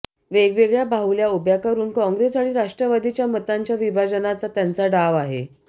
वेगवेगळया बाहुल्या उभ्या करुन काँग्रेस आणि राष्ट्रवादीच्या मतांच्या विभाजनाचा त्यांचा डाव आहे